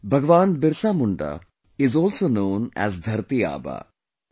Bhagwan Birsa Munda is also known as 'Dharti Aaba'